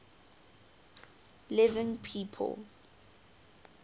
living people